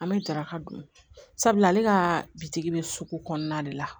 An bɛ daraka dun sabula ale ka bitigi bɛ sugu kɔnɔna de la